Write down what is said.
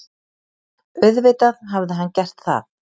Auðvitað hafði hann gert það.